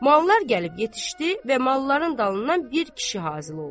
Mallar gəlib yetişdi və malların dalından bir kişi hasil oldu.